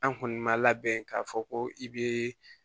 An kɔni ma labɛn k'a fɔ ko i be